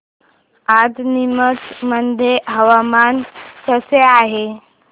आज नीमच मध्ये हवामान कसे आहे